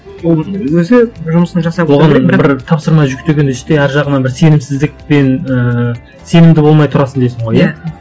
ол өзі жұмысын жасап отыра береді бір тапсырма жүктеген істе ар жағынан бір сенімсіздікпен ііі сенімді болмай тұрасың дейсің ғой иә